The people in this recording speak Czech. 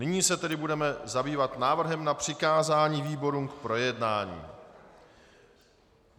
Nyní se tedy budeme zabývat návrhem na přikázání výborům k projednání.